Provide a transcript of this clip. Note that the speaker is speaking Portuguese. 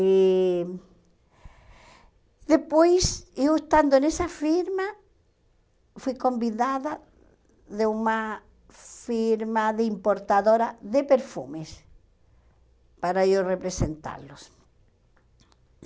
E... Depois, eu estando nessa firma, fui convidada de uma firma de importadora de perfumes para eu representá-los.